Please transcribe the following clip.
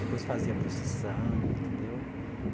Depois fazia procissão, entendeu?